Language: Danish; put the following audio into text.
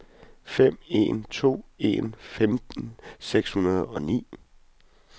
fem en to en femten seks hundrede og ni